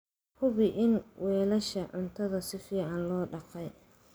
Hubi in weelasha cuntada si fiican loo dhaqay.